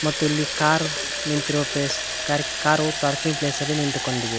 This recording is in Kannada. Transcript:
ಮತ್ತು ಇಲ್ಲಿ ಕಾರ್ ನಿಂತಿರುವ ಪ್ಲೇಸ್ ಮತ್ತು ಕಾರು ಪಾರ್ಕಿಂಗ್ ಪ್ಲೇಸಲ್ಲಿ ನಿಂತುಕೊಂಡಿದೆ.